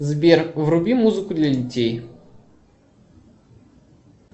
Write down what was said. сбер вруби музыку для детей